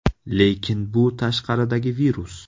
Lekin bu tashqaridagi virus.